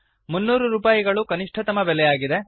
300 ರೂಪಾಯಿಗಳು ಕನಿಷ್ಠತಮ ಬೆಲೆಯಾಗಿದೆ